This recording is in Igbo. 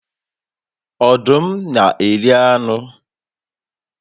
Ọdụm na eri anụ